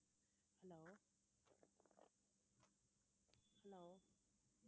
hello hello